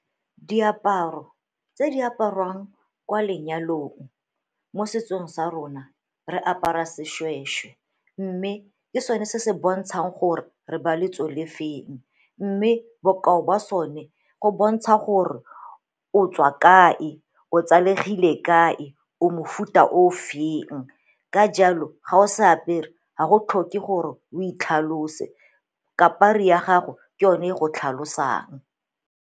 Diaparo tse di apariwang kwa lenyalong mo setsong sa rona re apara seshweshwe mme ke sone se se bontshang gore re ba lotso le feng, mme bokao ba sone go bontsha gore o tswa ka e, o tsalegile kae, o mofuta o feng. Ka jalo ga o se apere ga go tlhoke gore o itlhalose kapri ya gago ke yone e go tlhalosang.